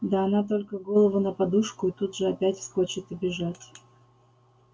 да она только голову на подушку и тут же опять вскочит и бежать